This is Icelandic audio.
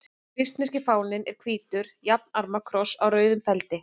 Svissneski fáninn er hvítur jafnarma kross á rauðum feldi.